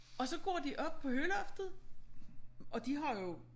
Og så går de op på høloftet og de har jo